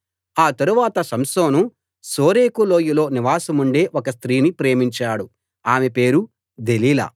ఆ తరువాత సంసోను శోరేకు లోయలో నివాసముండే ఒక స్త్రీని ప్రేమించాడు ఆమె పేరు దెలీలా